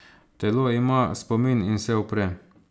Telo ima spomin in se upre.